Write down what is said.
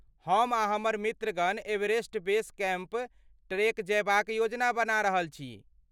हम आ हमर मित्रगण एवरेस्ट बेस कैम्प ट्रेक जयबाक योजना बना रहल छी।